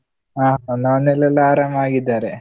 ಹಾ ನನ್ನ ಮನೆಲೆಲ್ಲಾ ಆರಾಮವಾಗಿದ್ದಾರೆ.